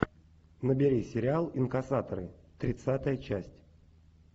набери сериал инкассаторы тридцатая часть